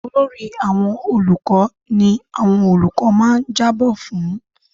Olórí àwọn olùkọ́ ni àwọn olùkọ́ máa ń jábọ fún-un.